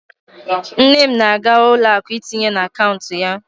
Nne m na-aga ụlọ akụ itinye n'akaụntụ ya.